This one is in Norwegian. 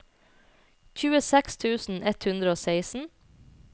tjueseks tusen ett hundre og seksten